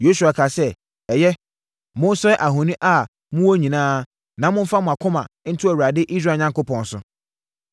Yosua kaa sɛ, “Ɛyɛ, monsɛe ahoni a mowɔ nyinaa na momfa mo akoma nto Awurade, Israel Onyankopɔn so.”